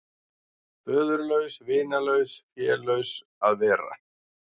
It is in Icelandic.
Föðurlaus, vinalaus, félaus að vera.